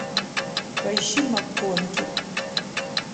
поищи макконки